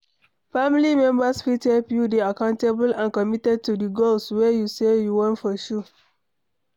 Family members fit help you dey accountable and committed to di goals wey you sey you wan pursue